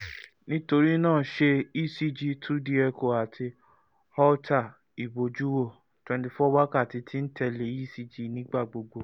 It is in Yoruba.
nitorina ṣe ecg two d echo ati holter ibojuwo twenty four wakati ti n tẹle ecg nigbagbogbo